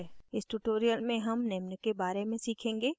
इस tutorial में हम निम्न के बारे में सीखेंगे